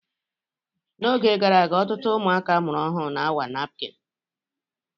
N'oge gara aga, ọtụtụ ụmụaka amụrụ ọhụrụ na-awa napkini.